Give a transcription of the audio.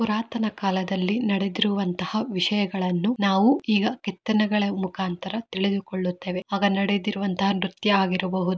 ಪುರಾತನ ಕಾಲದಲ್ಲಿ ನಡೆದಿರುವಂತಹ ವಿಷಯಗಳನ್ನು ನಾವು ಈಗ ಕೆತ್ತನೆಗಳ ಮುಖಾಂತರ ತಿಳಿದುಕೊಳ್ಳುತೆವೆ ಆಗ ನಡೆದಿರುವಂತಹ ನೃತ್ಯ ಹಾಗಿರಬಹುದು.